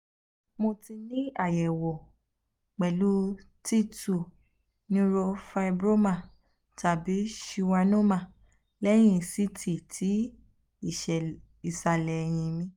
um mo um ti ni ayẹwo pẹlu t two neurofibroma tabi schwannoma lẹhin ct ti isale eyin mi